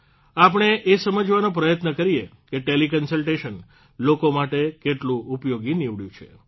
આપણે એ સમજવાનો પ્રયત્ન કરીએ કે ટેલીકન્સલટેશન લોકો માટે કેટલું ઉપયોગી નીવડ્યું છે